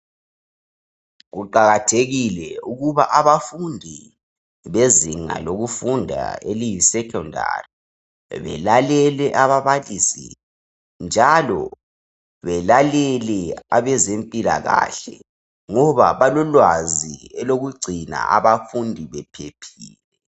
Kuqakathekile ukuba abafundi bezinga lokufunda eliyisekhondari balalele ababalisi labezempilakahle ngoba balolwazi lokugcina abafundi bephephile.